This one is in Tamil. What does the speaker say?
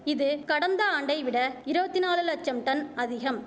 இது கடந்த ஆண்டைவிட இரவத்தி நாலு லட்சம் டன் அதிகம்